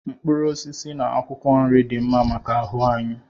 Mkpụrụ osisi na akwụkwọ nri dị mma maka ahụ anyị